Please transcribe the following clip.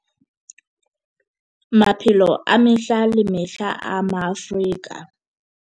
Maphelo a mehla le mehla a Maafrika